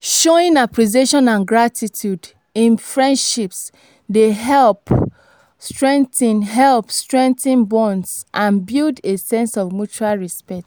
showing appreciation and gratitude in friendships dey help strengthen help strengthen bonds and build a sense of mutual respect.